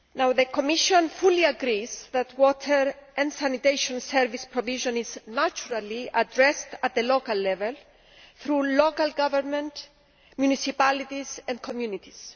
The Commission fully agrees that water and sanitation service provision is naturally addressed at the local level, through local government, municipalities and communities.